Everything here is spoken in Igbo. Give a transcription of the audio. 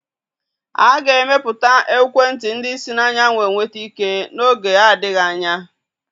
A ga-emepụta ekwentị ndi si n'anyanwụ enweta ike n'oge adịghị anya.